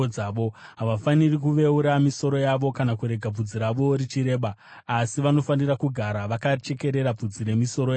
“ ‘Havafaniri kuveura misoro yavo kana kurega bvudzi ravo richireba, asi vanofanira kugara vakachekerera bvudzi remisoro yavo.